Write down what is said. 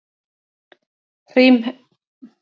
Grímheiður, hringdu í Sæ.